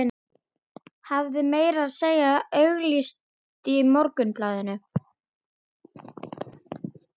Hafði meira að segja auglýst í Morgunblaðinu.